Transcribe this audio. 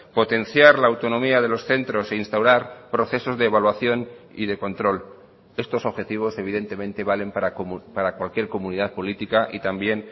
potenciar la autonomía de los centros e instaurar procesos de evaluación y de control estos objetivos evidentemente valen para cualquier comunidad política y también